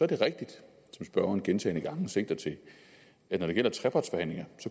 det rigtigt som spørgeren gentagne gange sigter til at når det gælder trepartsforhandlinger